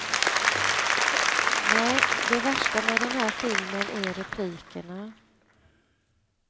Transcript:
Nej, det värsta med den här filmen är replikerna.